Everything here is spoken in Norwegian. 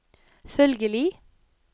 følgelig